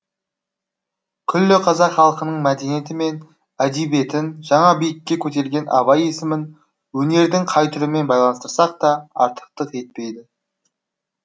күллі қазақ халқының мәдениеті мен әдебиетін жаңа биікке көтерген абай есімін өнердің қай түрімен байланыстырсақ та артықтық етпейді